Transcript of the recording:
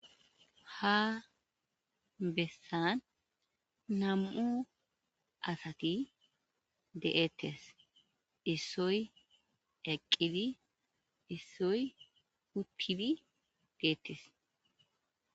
Ha bessan nam"u asati de'ettes issoy eqqidi issoy uttidi deettes.